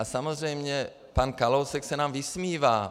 A samozřejmě pan Kalousek se nám vysmívá.